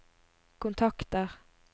kontakter